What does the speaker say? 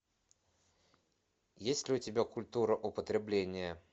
есть ли у тебя культура употребления